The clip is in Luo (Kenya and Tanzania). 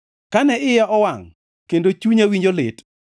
Kane iya owangʼ, kendo chunya winjo lit,